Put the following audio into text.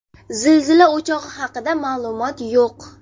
Zilzila o‘chog‘i haqida ma’lumot yo‘q.